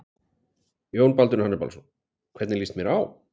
Jón Baldvin Hannibalsson: Hvernig lýst mér á?